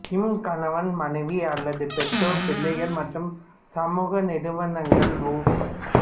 ம் கணவன் மனைவி அல்லது பெற்றோர் பிள்ளை மற்றும் சமூக நிறுவனங்கள் உ